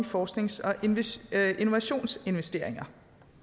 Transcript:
forsknings og innovationsinvesteringer